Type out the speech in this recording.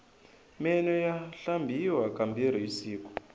meno ya hlambiwa ka mbirhi hi siku